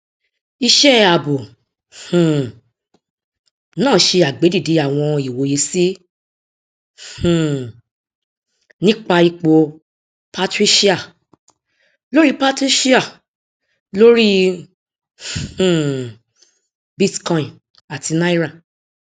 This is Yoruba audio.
iṣẹ ààbò um náà ṣe àgbédide àwọn ìwòye sí um nípa ipò patricia lórí patricia lórí um bitcoin àti náírà